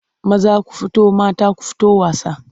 Maza ku fito mata ku fito wasa.